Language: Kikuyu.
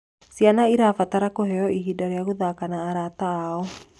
Ciana irabatara kuheo ihinda rĩa guthaka na arata ao